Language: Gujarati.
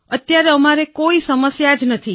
અત્યારે અમારે કોઈ સમસ્યા જ નથી